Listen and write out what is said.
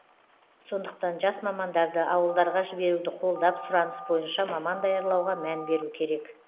сондықтан жас мамандарды ауылдарға жіберуді қолдап сұраныс бойынша маман даярлауға мән беру керек